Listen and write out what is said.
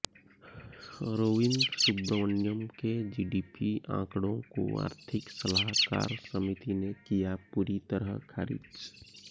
अरविंद सुब्रमण्यन के जीडीपी आंकड़ों को आर्थिक सलाहकार समिति ने किया पूरी तरह ख़ारिज